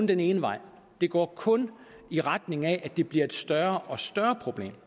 den ene vej det går kun i retning af at det bliver et større og større problem